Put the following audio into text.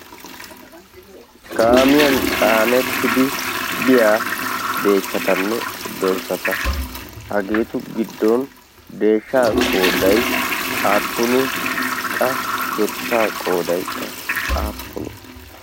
kaamiyan caanettidi biyaa deeshshatanne dorssata hageetu giddon deeshsha qooday aappuni qa dorssaa qoodaykka aappuni